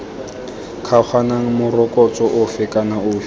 kgaoganang morokotso ofe kana ofe